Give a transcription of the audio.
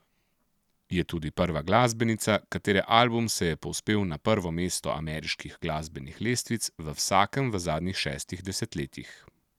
Je tudi prva glasbenica, katere album se je povzpel na prvo mesto ameriških glasbenih lestvic v vsakem v zadnjih šestih desetletjih.